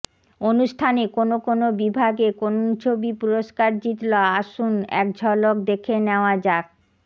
অনুষ্ঠানে কোন কোন বিভাগে কোন ছবি পুরস্কার জিতল আসুল এক ঝলকে দেখে নেওয়া যাক